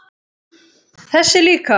Þessi líka